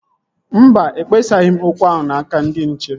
Mba, ekpesaghị m okwu ahụ n'aka ndị nche